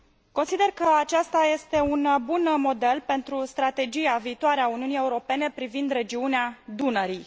Consider că aceasta este un bun model pentru strategia viitoare a Uniunii Europene privind regiunea Dunării.